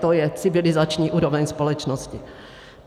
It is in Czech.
To je civilizační úroveň společnosti.